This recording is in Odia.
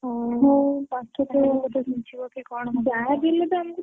ହଉ ଘୁଞ୍ଚିବ କି କଣ।